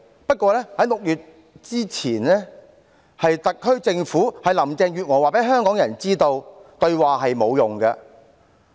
不過，在6月之前，是特區政府、林鄭月娥告訴香港人，對話是沒有用的。